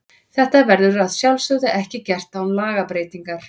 Þetta verður að sjálfsögðu ekki gert án lagabreytingar.